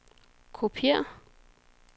kopiér